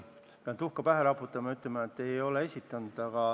Pean endale tuhka pähe raputama ja ütlema, et ei ole esitanud.